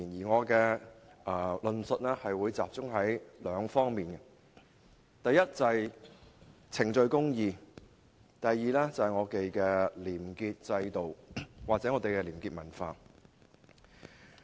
我的論述會集中在兩方面，第一是程序公義，第二是廉潔制度或廉潔文化。